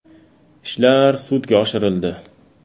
Ishlar sudga oshirildi.